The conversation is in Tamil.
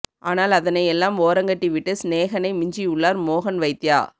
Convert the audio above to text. ஆனால் அதனை எல்லாம் ஓரங்கட்டி விட்டு ஸ்நேகனை மிஞ்சி உள்ளார் மோகன் வைத்யா